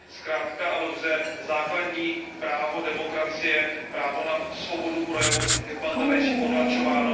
Zkrátka a dobře, základní právo demokracie, právo na svobodu projevu, je v Bangladéši potlačováno.